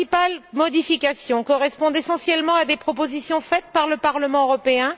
Les principales modifications correspondent essentiellement à des propositions faites par le Parlement européen.